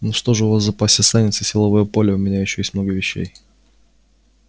ну что же у вас в запасе останется силовое поле а у меня ещё есть много вещей